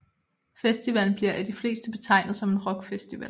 Festivalen bliver af de fleste betegnet som en rockfestival